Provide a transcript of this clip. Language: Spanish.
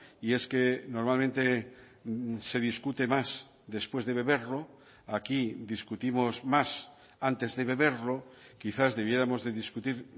y es que normalmente se discute más después de beberlo aquí discutimos más antes de beberlo quizás debiéramos de discutir